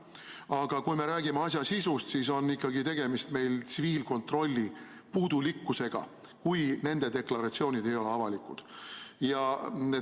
Aga kui me räägime asja sisust, siis on ikkagi tegemist tsiviilkontrolli puudulikkusega, kui nende deklaratsioonid ei ole avalikud.